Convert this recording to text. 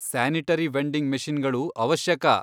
Sanitary vending ಮಷೀನ್ಗಳು ಅವಶ್ಯಕ.